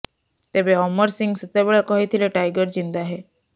ତେବେ ଅମର ସିଂହ ସେତେବେଳେ କହିଥିଲେ ଟାଇଗର ଜିନ୍ଦା ହୈ